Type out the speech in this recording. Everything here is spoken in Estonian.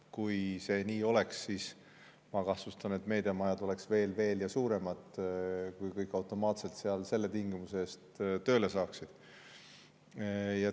Kui see nii oleks, kui kõik automaatselt seal sellel tingimusel tööle saaksid, siis ma kahtlustan, et meediamajad oleksid veelgi suuremad.